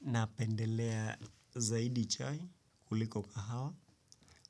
Na pendelea zaidi chai kuliko kahawa